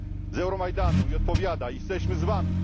z Euromajdanu i odpowiada Jesteśmy z Wami!